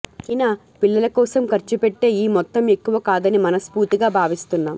అయినా పిల్లల కోసం ఖర్చు పెట్టే ఈ మొత్తం ఎక్కువ కాదని మనస్ఫూర్తిగా భావిస్తున్నాం